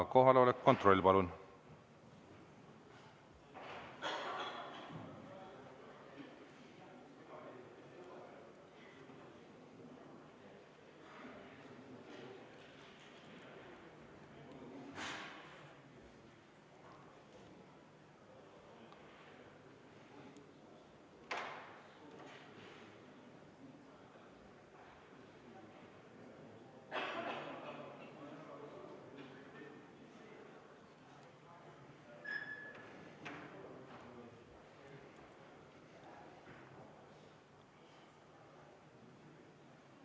Kohaloleku kontroll, palun!